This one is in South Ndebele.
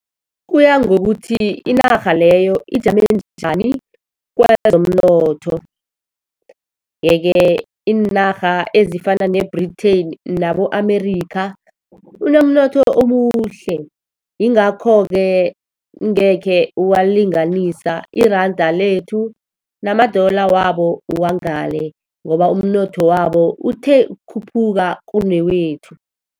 Kuya ngokuthi inarha leyo ijame njani kwezomnotho. Yeke, iinarha ezifana ne-Britain nabo-America, unomnotho omuhle. Yingakho-ke ungekhe walinganisa iranda lethu nama-dollar wabo wangale, ngoba umnotho wabo uthe ukukhuphuka kunewethu.